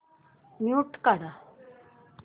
mute काढ